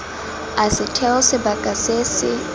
a setheo sebaka se se